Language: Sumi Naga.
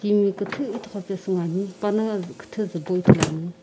timi küthü ithughupesü ngoani pana zü küthü zupo ithuluani.